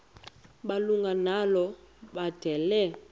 malunga nalo mbandela